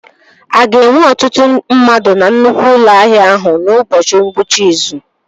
A ga-enwe ọtụtụ ndị mmadụ na nnukwu ụlọ ahịa ahụ n'ụbọchị ngwụcha izu?